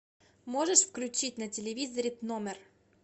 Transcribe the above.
можешь включить на телевизоре тномер